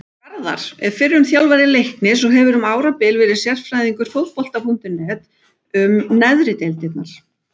Garðar er fyrrum þjálfari Leiknis og hefur um árabil verið sérfræðingur Fótbolta.net um neðri deildirnar.